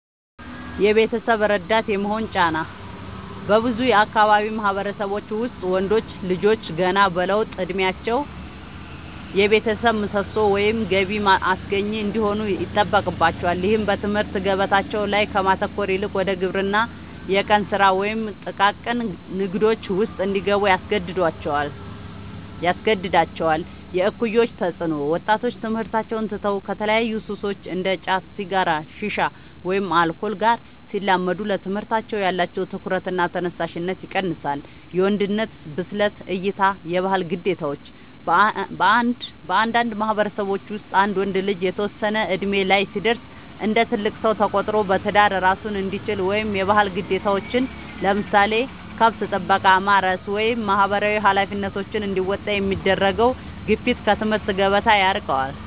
የቤተሰብ ረዳት የመሆን ጫና፦ በብዙ የአካባቢው ማህበረሰቦች ውስጥ ወንዶች ልጆች ገና በለውጥ እድሜያቸው የቤተሰብ ምሰሶ ወይም ገቢ አስገኚ እንዲሆኑ ይጠበቅባቸዋል። ይህም በትምህርት ገበታቸው ላይ ከማተኮር ይልቅ ወደ ግብርና፣ የቀን ስራ ወይም ጥቃቅን ንግዶች ውስጥ እንዲገቡ ያስገድዳቸዋል። የእኩዮች ተፅዕኖ፦ ወጣቶች ትምህርታቸውን ትተው ከተለያዩ ሱሶች (እንደ ጫት፣ ሲጋራ፣ ሺሻ ወይም አልኮል) ጋር ሲላመዱ ለትምህርታቸው ያላቸው ትኩረትና ተነሳሽነት ይቀንሳል። የወንድነት ብስለት እይታ (የባህል ግዴታዎች)፦ በአንዳንድ ማህበረሰቦች ውስጥ አንድ ወንድ ልጅ የተወሰነ እድሜ ላይ ሲደርስ እንደ ትልቅ ሰው ተቆጥሮ በትዳር እራሱን እንዲችል ወይም የባህል ግዴታዎችን (ለምሳሌ ከብት ጥበቃ፣ ማረስ ወይም ማህበራዊ ኃላፊነቶች) እንዲወጣ የሚደረገው ግፊት ከትምህርት ገበታ ያርቀዋል።